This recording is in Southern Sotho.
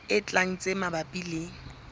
e tlang tse mabapi le